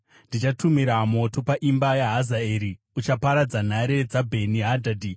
ndichatumira moto paimba yaHazaeri uchaparadza nhare dzaBheni Hadhadhi.